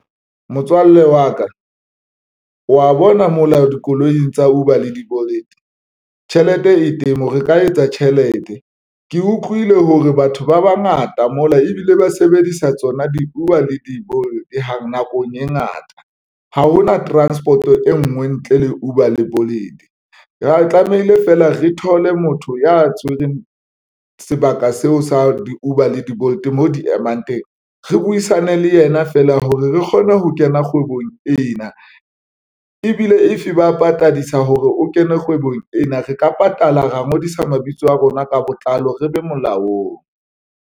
Motswalle wa ka wa bona mola dikoloing tsa Uber le di-Bolt tjhelete e teng re ka etsa tjhelete. Ke utlwile hore batho ba bangata mola ebile ba sebedisa tsona di-Uber le di-Bolt hang nakong e ngata. Ha hona transport-o e nngwe ntle le Uber le Bolt ho tlamehile feela re thole motho ya tshwereng sebaka seo sa di-Uber le di-Bolt mo di emang teng re buisane le yena feela hore re kgone ho kena kgwebong ena ebile if ba patadisa hore o kene kgwebong ena, re ka patala ra ngodisa mabitso a rona ka botlalo, re be molaong.